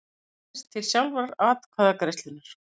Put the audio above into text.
ná aðeins til sjálfrar atkvæðagreiðslunnar.